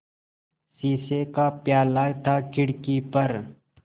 शीशे का प्याला था खिड़की पर